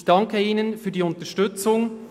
Ich danke Ihnen für die Unterstützung.